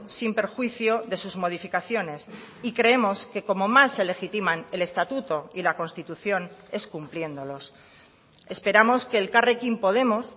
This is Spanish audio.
sin perjuicio de sus modificaciones y creemos que como más se legitiman el estatuto y la constitución es cumpliéndolos esperamos que elkarrekin podemos